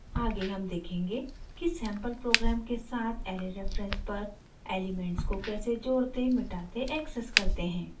आगे हम देखेंगे कि सैंपल प्रोग्राम के साथ ऐरे रेफरेंस पर एलिमेंट्स को कैसे जोड़ते मिटाते एक्सेस करते हैं